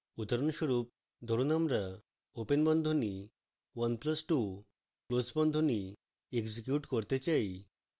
উদাহরণস্বরূপ ধরুন আমরা open বন্ধনী 1 plus 2 close বন্ধনী execute করতে চাই